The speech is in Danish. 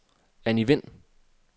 Anni Wind